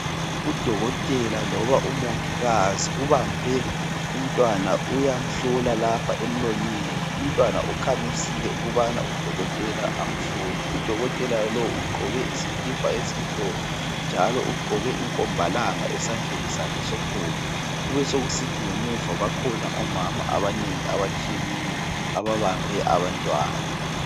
Udokotela loba umongikazi ubambe umntwana uyamhlola lapha emlonyeni. Umntwana ukhamisile ukubana udokotela amhlole. Udokotela lo ugqoke usikipa esimhlophe njalo ugqoke inkombalanga esandleni sakhe sokhohlo. Kubesekusithi ngemuva bakhona omama abanengi abatshiyeneyo ababambe abantwana.